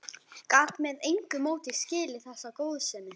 Gat með engu móti skilið þessa góðsemi.